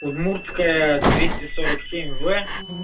удмуртская двести сорок семь в